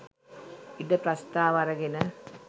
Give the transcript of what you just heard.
ඉඩ ප්‍රස්ථාව අරගෙන